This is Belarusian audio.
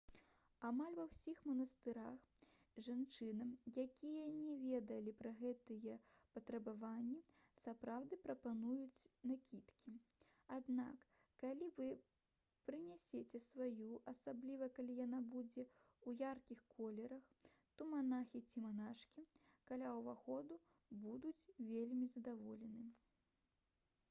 амаль ва ўсіх манастырах жанчынам якія не ведалі пра гэтыя патрабаванні сапраўды прапануюць накідкі аднак калі вы прынесяце сваю асабліва калі яна будзе ў яркіх колерах то манахі ці манашкі каля ўваходу будуць вельмі задаволены